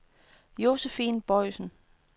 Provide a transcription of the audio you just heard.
Josephine Boisen